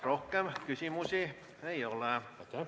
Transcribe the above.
Rohkem küsimusi ei ole.